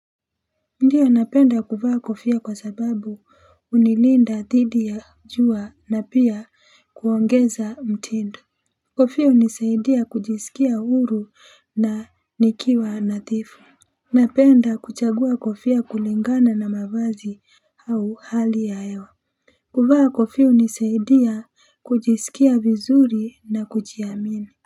Ndio napenda kuvaa kofia kwa sababu hunilinda dhidi ya jua na pia kuongeza mtindo. Kofia hunisaidia kujisikia huru na nikiwa nadhifu. Napenda kuchagua kofia kulingana na mavazi au hali ya hewa. Kuvaa kofia hunisaidia kujisikia vizuri na kujiamini.